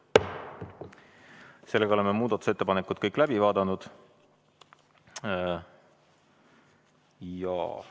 Sellega oleme kõik muudatusettepanekud läbi vaadanud.